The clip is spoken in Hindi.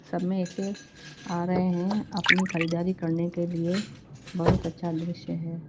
समय से आ रहे हैं अपनी खरीदारी करने के लिए बहुत अच्छा दृश्य है।